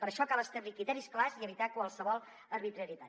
per això cal establir criteris clars i evitar qualsevol arbitrarietat